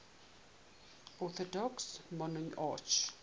orthodox monarchs